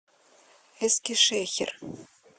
эскишехир